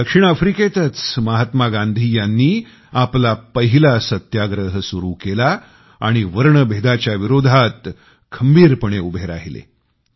दक्षिण आफ्रिकेतच महात्मा गांधी यांनी आपला पहिला सत्याग्रह सुरु केला आणि वर्णभेदाच्या विरोधात खंबीरपणे उभे राहिलेत